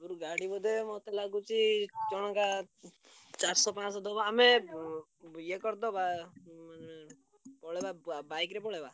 ଗାଡି ବୋଧେ ମତେ ଲାଗୁଚି ଜଣକା ଚାରିସ ପାଂଶ ଦବ ଆମେ ଉଁ ଇଏ କରିଦବା ଉଁ ପଳେଇବା ~ବା bike ରେ ପଳେଇବା?